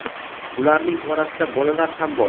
ularning orasida bolalar ham bor.